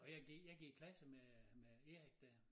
Og jeg gik jeg gik i klasse med øh med Erik dér